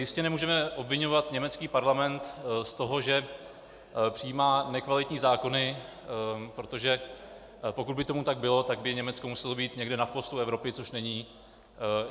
Jistě nemůžeme obviňovat německý parlament z toho, že přijímá nekvalitní zákony, protože pokud by tomu tak bylo, tak by Německo muselo být někde na chvostu Evropy, což není.